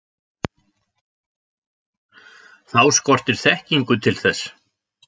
Þá skortir þekkingu til þess.